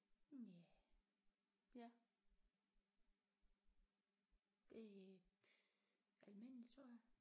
Ja ja det almindeligt tror jeg